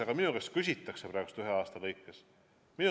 Aga minu käest küsitakse praegu ühe aasta lõikes.